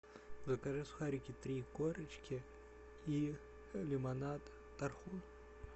закажи сухарики три корочки и лимонад тархун